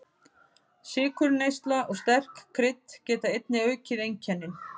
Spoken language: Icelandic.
Sykurneysla og sterk krydd geta einnig aukið einkennin.